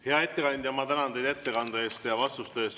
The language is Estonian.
Hea ettekandja, ma tänan teid ettekande ja vastuste eest!